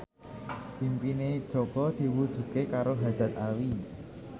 impine Jaka diwujudke karo Haddad Alwi